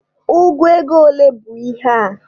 Ụgụ ego ole bụ ihe a?